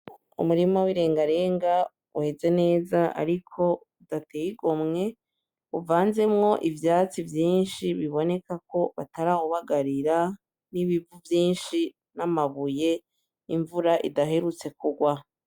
Umurima w'ilengalenga weze neza ariko udateye igomwe, uvanzemwo ivyatsi vyinshi biboneka ko batarawubagarira n'ibivu vyinshi n'amabuye, n'imvura idaherutse kugwa.